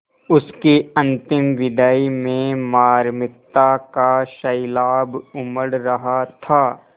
उसकी अंतिम विदाई में मार्मिकता का सैलाब उमड़ रहा था